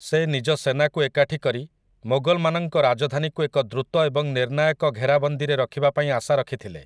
ସେ ନିଜ ସେନାକୁ ଏକାଠି କରି ମୋଗଲମାନଙ୍କ ରାଜଧାନୀକୁ ଏକ ଦ୍ରୁତ ଏବଂ ନିର୍ଣ୍ଣାୟକ ଘେରାବନ୍ଦୀରେ ରଖିବା ପାଇଁ ଆଶା ରଖିଥିଲେ ।